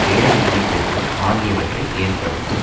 வேலையின்மை பெருக்கம் ஆகியவற்றை ஏற்படுத்தும்